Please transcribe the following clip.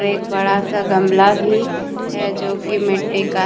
एक बड़ा सा गमला भी है जोकि मिट्टी का है।